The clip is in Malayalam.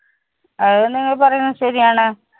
ആഹ് അത് നിങ്ങൾ പറയുന്നത് ശെരി ആണ്.